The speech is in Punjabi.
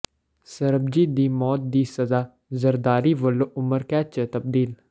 ਸਰਬਜੀਤ ਦੀ ਮੌਤ ਦੀ ਸਜ਼ਾ ਜ਼ਰਦਾਰੀ ਵਲੋਂ ਉਮਰਕੈਦ ਚ ਤਬਦੀਲ